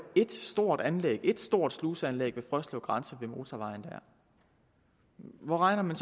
et stort anlæg et stort sluseanlæg ved frøslev ved motorvejen hvor regner man